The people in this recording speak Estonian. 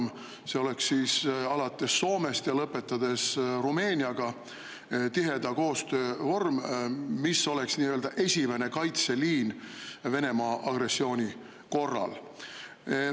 See alates Soomest ja lõpetades Rumeeniaga, tiheda koostöö vorm, mis oleks nii-öelda esimene kaitseliin Venemaa agressiooni korral.